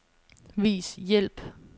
Vis hjælp.